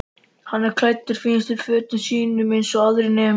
Hann er klæddur fínustu fötunum sínum eins og aðrir nemendur.